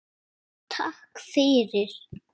Já, takk fyrir.